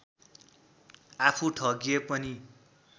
आफू ठगिए पनि